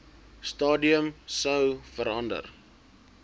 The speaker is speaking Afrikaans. stadium sou verander